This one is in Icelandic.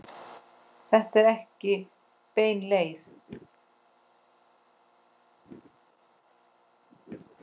Þetta er ekki bein leið.